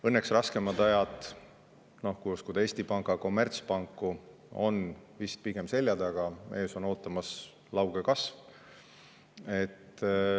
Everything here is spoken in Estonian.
Õnneks raskemad ajad, kui uskuda Eesti Panga kommertspanku, on vist pigem selja taga, ees on ootamas lauge kasv.